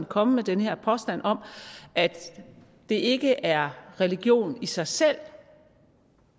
komme med den her påstand om at det ikke er religion i sig selv